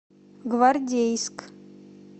гвардейск